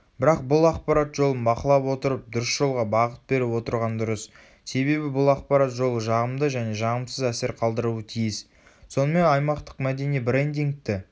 бірақ бұл ақпарат жолын бақылап отырып дұрыс жолға бағыт беріп отырған дұрыс себебі бұл ақпарат жолы жағымды және жағымсыз әсер қалдыруы тиіс.сонымен аймақтық мәдени брендингті